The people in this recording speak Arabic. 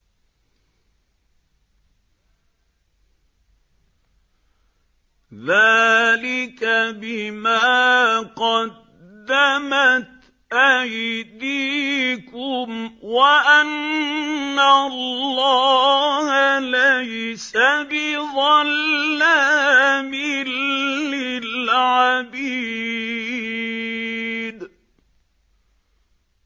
ذَٰلِكَ بِمَا قَدَّمَتْ أَيْدِيكُمْ وَأَنَّ اللَّهَ لَيْسَ بِظَلَّامٍ لِّلْعَبِيدِ